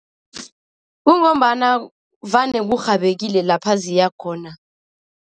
Kungombana vane kurhabekile lapha ziyakhona.